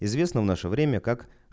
известно в наше время как